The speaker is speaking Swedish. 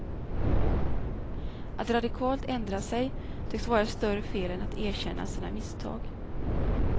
Att radikalt ändra sig tycks vara ett större fel än att erkänna sina misstag.